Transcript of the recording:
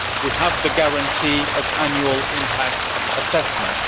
We have the guarantee of annual impact assessments.